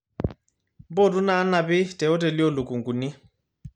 mpotu inaanapi teoteli oolukunguni